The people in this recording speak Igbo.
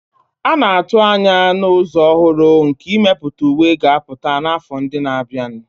A na-atụ anya na ụzọ ọhụrụ nke imepụta uwe ga-apụta n'afọ ndị na-abịa.